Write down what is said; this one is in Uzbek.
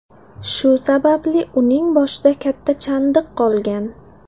Shu sababli uning boshida katta chandiq qolgan.